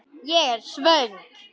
Ég er svo svöng.